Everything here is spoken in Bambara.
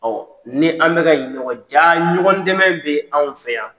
Ɔ ni an bɛka ka ɲɔgɔn jaa ɲɔgɔn dɛmɛ bɛ anw fɛ yan.